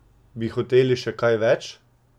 Bi hoteli še kaj več?